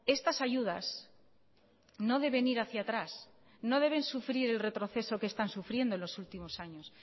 estas ayudas no deben ir hacia atrás no deben sufrir el retroceso que están sufriendo los últimos años